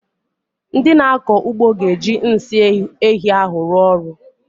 Ndị na-akọ ugbo ga-eji nsị ehi ahụ arụ ọrụ.